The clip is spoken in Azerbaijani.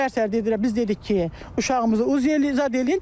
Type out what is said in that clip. Səhər-səhər dedilər, biz dedik ki, uşağımızı UZ eləyir zad eləyir.